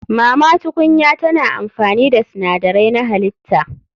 Mama tukunya tana amfani da sinadarai na halitta.